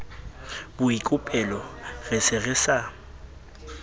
boikopelo re se re sa